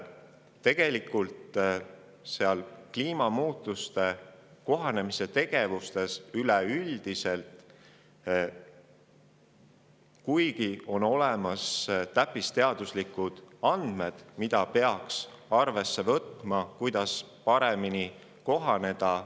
Tegelikult oleme me Eestis paraku üleüldiselt kliimamuutustega kohanemise tegevuste ja kõige sellega alles väga-väga algusjärgus, kuigi on olemas täppisteaduslikud andmed selle kohta, kuidas nendega paremini kohaneda.